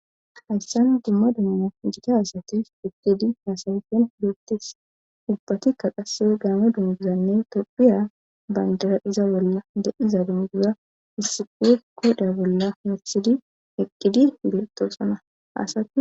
hayssan dumma duma gita hasatiris eqqidi haasawifen looptis ubbatikka qase gaame dunduzanne topphiya bandara iza bolla de7iza dumguza hissiquwe koda bolla hersidi eqqidi beltoosana asati